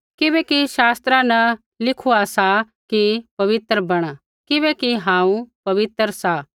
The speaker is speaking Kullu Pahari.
किबैकि शास्त्रा न लिखुआ सा कि पवित्र बैणा किबैकि हांऊँ पवित्र सा